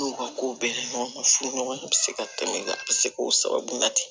N'u ka ko bɛɛ ɲɔgɔman furu ɲɔgɔn bɛ se ka tɛmɛ a bɛ se k'o sababu la ten